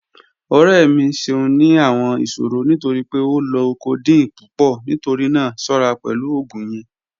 Ọrẹ mi ṣẹun ni awọn iṣòrọ̀ nítorí pé ó lọ codeine pupọ̀, nítorí náà ṣọra pẹ̀lú ogun yẹn